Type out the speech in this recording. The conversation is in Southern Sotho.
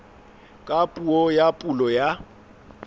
ka puo ya pulo ya